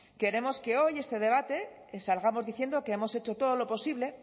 queremos que hoy de este debate salgamos diciendo que hemos hecho todo lo posible